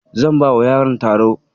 Zan bawa yaron taro.